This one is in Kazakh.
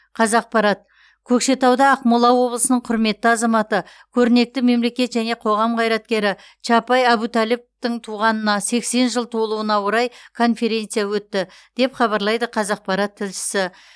қазақпарат көкшетауда ақмола облысының құрметті азаматы көрнекті мемлекет және қоғам қайраткері чапай әбутәліповтың туғанына сексен жыл толуына орай конференция өтті деп хабарлайды қазақпарат тілшісі